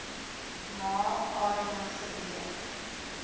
ma area gebeur